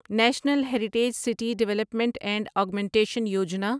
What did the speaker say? national heritage city development and augmentation Yojana